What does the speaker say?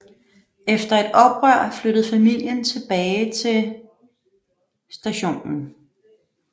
Efter et oprør flyttede familien tilbage til St